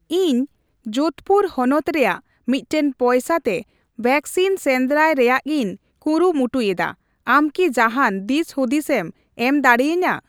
ᱤᱧ ᱡᱳᱫᱷᱯᱩᱨ ᱦᱚᱱᱚᱛ ᱨᱮᱭᱟᱜ ᱢᱤᱴᱴᱮᱱ ᱯᱚᱭᱥᱟ ᱛᱮ ᱣᱮᱠᱥᱤᱱ ᱥᱮᱱᱫᱽᱨᱟᱭ ᱨᱮᱭᱟᱜᱤᱧ ᱠᱩᱨᱩᱢᱩᱴᱩᱭᱮᱫᱟ, ᱟᱢ ᱠᱤ ᱡᱟᱦᱟᱸᱱ ᱫᱤᱥᱦᱩᱫᱤᱥᱮᱢ ᱮᱢ ᱫᱟᱲᱤᱭᱟᱹᱧᱟ ?